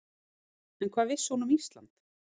En hvað vissi hún um Ísland?